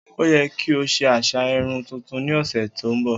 O yẹ ki o se aṣa irun tuntun ni ọsẹ to nbọ!